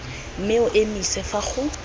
mme o emise fa go